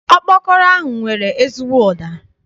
Ọkpọkọrọ ahụ nwere ezigbo ụda.